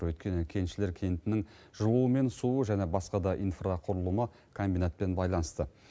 өйткені кеншілер кентінің жылуы мен суы және басқа да инфрақұрылымы комбинатпен байланысты